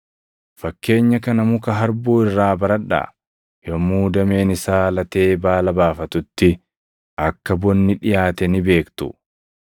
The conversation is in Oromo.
“Fakkeenya kana muka harbuu irraa baradhaa; yommuu dameen isaa latee baala baafatutti akka bonni dhiʼaate ni beektu.